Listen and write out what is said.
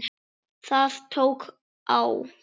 Það tók á.